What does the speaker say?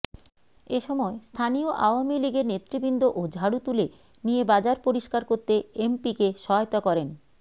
এসময় স্থানীয় আওয়ামী লীগের নেতৃবৃন্দও ঝাড়ু তুলে নিয়ে বাজার পরিস্কার করতে এমপিকে সহায়তা করেন